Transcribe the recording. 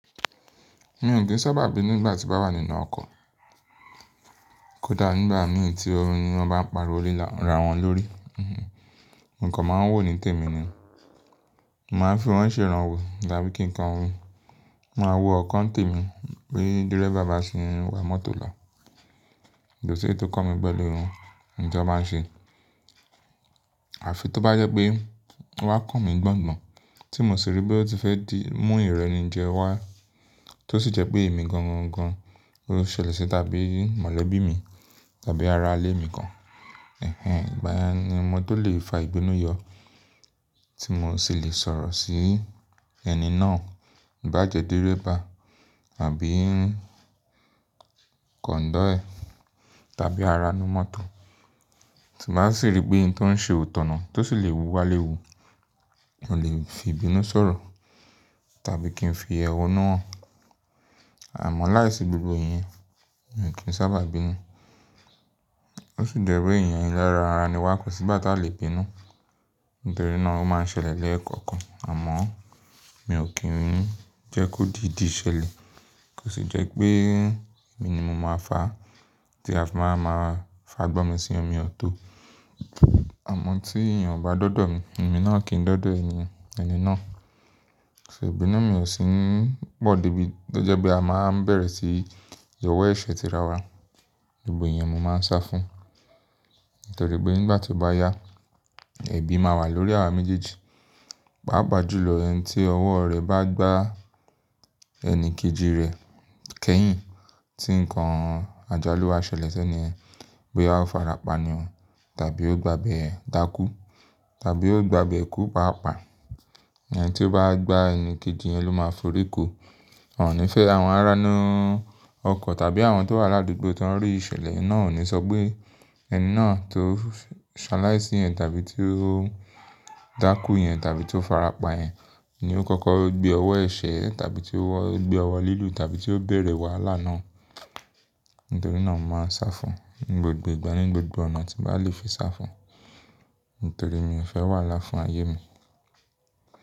Mi ò kí ń sábà bínu nígbà tí bá wà nínú ọkọ̀. Kódà nígbà mìíràn tí wọn bá ń pariwo le, ra wọn lórí. Nǹkan máa ń wo ní tèmi ni. Mo máa ń fún wọn sí ìrànwọ́, tàbí kí nǹkan hun. Mo máa wo ọkàn tèmi bí dirẹ́fa bá ṣe ń wa mọ́tò lọ. Ko ó ṣe tó kọ́ mi pẹ̀lú irun ni tí wọ́n máa ń ṣe. Àfi tó bá jẹ́ pé wọ́n kàn mí gbọ́n gbọ́n, tí mo sì rí pé ó ti fẹ́ di mú ìrẹni jẹ wá, tó sì jẹ́ pé èmi gangan gan-an ló ṣẹlẹ̀ sí tàbí mọ̀lẹ́bí mi tàbí ara-ilé mi kan. Ẹ̀hẹ́n, ìgbà yẹn ni mo tó lè fa ìbínú yọ tí mo sì lè sọ̀rọ̀ sí ẹni náà. Bá jẹ́ dẹ́rẹ́ba àbí kọ̀ǹdọ́yẹ̀ tàbí ara inú mọ́tò, tí mo bá sì rí pé ohun tó ń ṣe ò tọ̀nà tó sì lè wúwà léwu, mo lè fi ìbínú sọ̀rọ̀ tàbí kí n fi ẹhónú hàn. Àmọ́ láìsí gbogbo ìyẹn, mi ò kí ń sábà bínú. Ó sì jẹ́ pé eyan elérán ara ni wọ́n kò sí ìgbà tí a lè bínú. Nítorí náà ó máa ń ṣẹlẹ̀ lẹ́ẹ̀kọ̀kan. Àmọ́ mi ò kí ń jẹ́ kó di ìdí ṣẹlẹ̀. Kò sì jẹ́ pé èmi ni mo máa fà á tí a sì máa fà gbọ̀n mí sí ọmọ mi ọ̀tọ̀. Àmọ́ tí èèyàn bá dọ́dọ̀ mi, èmi náà kì í dọ́dọ̀ ẹni, ẹni náà. Ṣé ìbínú mi ò sì ń pọ̀ débi ó jẹ́ pé a máa ń bẹ̀rẹ̀ sí yọ̀wọ́ ẹ̀ṣẹ̀ ti ra wa. Gbogbo iyèn mo máa ń sá fún. Nítorí pé nígbà tí ó bá yá, ẹ̀bi máa wà lórí àwa méjèèjì. Pá pàjú lọ, ẹni tí ọwọ́ rẹ̀ bá gbá ẹni kejì rẹ̀ kẹ́yìn tí nǹkan àjálù bá ṣẹlẹ̀ sẹ́ni pé ó farapa ni ọ́n tàbí ó gbàbẹ́ dákú tàbí ó gbàbẹ́ kú pàápàá. Ẹni tí ó bá gbá ẹni kejì yẹn ló máa forí kó. Ọ̀nà ìfẹ́ àwọn aránú ọkọ̀ tàbí àwọn tó wà ládùgbò tó ń rí ìṣẹ̀lẹ̀ náà ò ní sọ pé ẹni náà tó ṣaláìsí yẹn tàbí tí ó dákú yẹn tàbí tí ó farapa yẹn ni ó kọ́kọ́ gbé ọwọ́ ẹ̀ṣẹ̀ tàbí tí ó gbé ọwọ́ lílù tàbí tí ó bẹ̀rẹ̀ wàhálà náà. Nítorí náà mo máa ń sá fún ní gbogbo ìgbà, ní gbogbo ọ̀nà tí màá le fi sá fún. Nítorí mi ò fẹ́ wàhálà fún ayé mi.